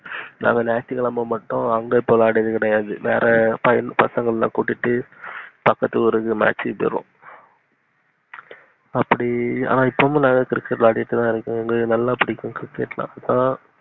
நாங்க ஞாயித்து அங்க இப்போ விளையாடியது கெடையாது. வேற பசங்க இருந்த கூட்டிகிட்டு பக்கத்து ஊருக்கு match க்கு போயிருவோம். அப்டி இப்போவோம் நாங்க cricket விளையாடிகிட்டு இருந்துதோம். ஆஹ் நல்லாபுடிக்கும் cricket னா